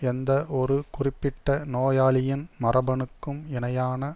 எந்த ஒரு குறிப்பிட்ட நோயாளியின் மரபணுக்கும் இணையான